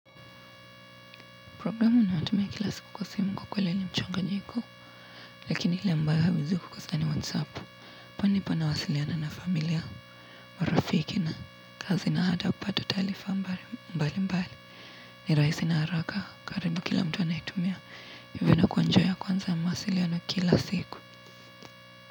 Programu ninayotumia kila siku kwa simu kwa kweli ni mchanganyiko lakini ile ambayo hauwezi kukosa ni whatsapp pani panawasiliana na familia marafiki na kazi na hata kupata taalifa mbali mbali ni rahisi na haraka karibu kila mtu anaitumia hivyo na kwa njia ya kwanza ya mawasiliano kila siku.